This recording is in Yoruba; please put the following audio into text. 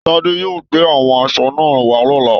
Tade yóò gbé àwọn aṣọ náà wà lọ̀la